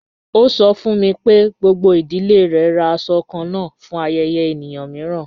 Ọ sọ̀ fún mi pé gbogbo idílé rè rá àṣọ̀ kànán fún ayẹ̀yẹ̀ èníyàn miìràn.